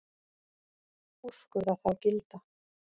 Úrskurða þá gilda.